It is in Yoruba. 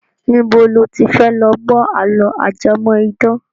Níbo lo ti fẹ́ lọ gbọ́ àló ajẹmọ́ idán?